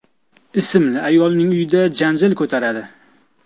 ismli ayolning uyida janjal ko‘taradi.